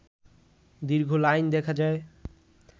দীর্ঘ লাইন দেখা যায়